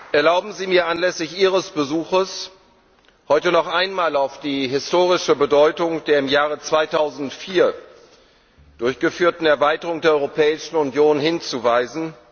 Erlauben Sie mir, anlässlich Ihres Besuches heute noch einmal auf die historische Bedeutung der im Jahr 2004 durchgeführten Erweiterung der Europäischen Union hinzuweisen.